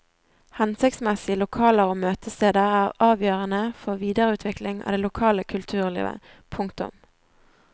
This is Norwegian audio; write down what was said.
Hensiktsmessige lokaler og møtesteder er avgjørende for videreutvikling av det lokale kulturlivet. punktum